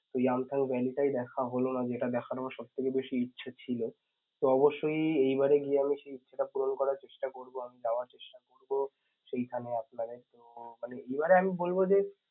ওই Yeamtham Valley টাই দেখা হল না যেটা দেখার আমার সবথেকে বেশি ইচ্ছা ছিল. তো অবশ্যই এইবারে গিয়ে আমি সেই পুরন করার চেষ্টা করবো আমি যাওয়ার চেষ্টা করব, সেইখানে আপনাদের মানে এইবারে আমি বলবো যে